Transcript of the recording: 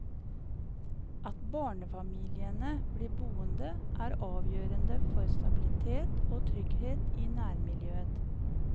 At barnefamiliene blir boende, er avgjørende for stabilitet og trygghet i nærmiljøet.